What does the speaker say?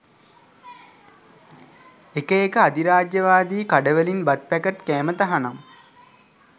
එක එක අදිරාජ්‍යවාදී කඩවලින් බත් පැකට් කෑම තහනම්